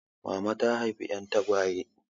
Mama ta haifa 'yan tagwaye.